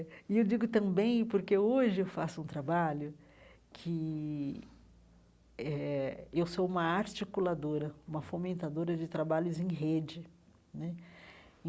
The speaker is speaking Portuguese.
E eu digo também porque hoje eu faço um trabalho que eh eu sou uma articuladora, uma fomentadora de trabalhos em rede né.